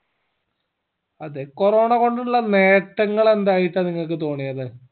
അതെ corona കൊണ്ടുള്ള നേട്ടങ്ങൾ എന്തായിട്ട നിങ്ങക്ക് തോന്നിയത്